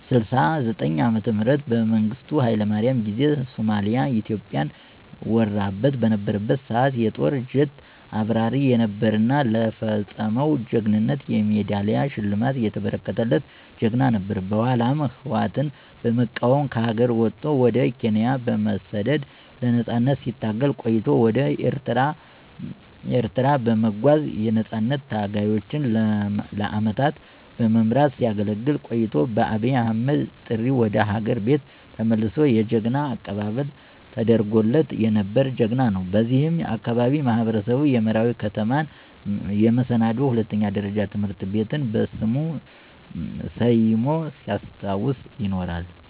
ዓ.ም በመንግስቱ ሀይለማርያም ጊዜ ሶማሊያ ኢትዮጵያን ወራበት በነበረበት ሰዓት የጦር ጀት አብራሪ የነበረ እና ለፈፀመው ጀግንነት የሜዳሊያ ሽልማት የተበረከተለት ጀግና ነበር። በኃላም ህወአትን በመቃወም ከሀገር ወጦ ወደ ኬንያ በመሠደድ ለነፃነት ሲታገል ቆይቶ ወደ ኤርትራ በመጓዝ የነፃነት ታጋዮችን ለአመታት በመምራት ሲያገለግል ቆይቶ በአብይ አህመድ ጥሪ ወደ ሀገር ቤት ተመልሶ የጀግና አቀባበል ተደርጎለት የነበረ ጀግና ነው። በዚህም የአካባቢው ማህበረሰብ የመራዊ ከተማን የመሰናዶ ሁለተኛ ደረጃ ትምህርት ቤትን በሥሙ ሠይሞ ሲያስታውሰው ይኖራል።